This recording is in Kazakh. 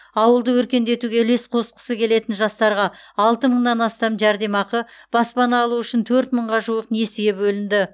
ауылды өркендетуге үлес қосқысы келетін жастарға алты мыңнан астам жәрдемақы баспана алу үшін төрт мыңға жуық несие бөлінді